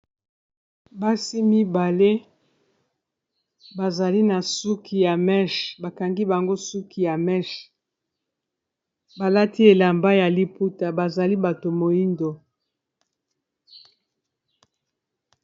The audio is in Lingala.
Basi mibale bazali na suki ya meshe bakangi bango suki ya meshe balati elamba ya liputa bazali bato moindo.